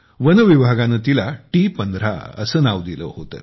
वनविभागाने तिला T१५ असे नाव दिले होते